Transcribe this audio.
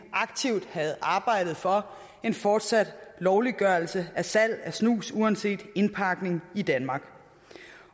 aktivt havde arbejdet for en fortsat lovliggørelse af salg af snus uanset indpakning